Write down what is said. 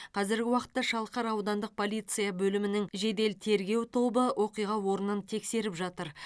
қазіргі уақытта шалқар аудандық полиция бөлімінің жедел тергеу тобы оқиға орнын тексеріп жатыр